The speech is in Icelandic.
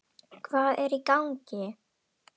Hvað er í gangi!